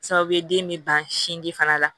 Sababu ye den bɛ ban sinji fana la